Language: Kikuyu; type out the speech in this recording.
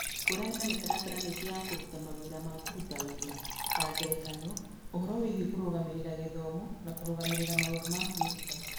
Ngũrani na mĩtaratara mĩingĩ ya kũruta mawĩra ma kũruta wĩra (ta ngerekano, ũhoro wĩgiĩ kũrũgamĩrĩra gĩthomo na kũrũgamĩrĩra maũndũ ma kwĩruta),